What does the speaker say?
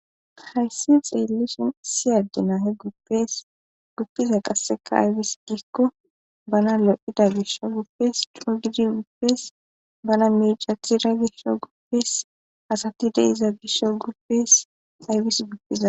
hayssi xeellishin siyaddi nahe eguppiza qasseka aybis giikko bana lo7ida gisho guppes cudidi guppes bana miicathira gishsho guppes asati deiza gisho guppes aybis guppiza